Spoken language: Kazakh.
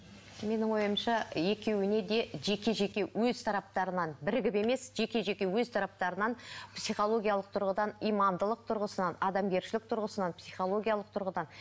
менің ойымша екеуіне де жеке жеке өз тараптарынан бірігіп емес жеке жеке өз тараптарынан психологиялық тұрғыдан имандылық тұрғысынан адамгершілік тұрғысынан психологиялық тұрғыдан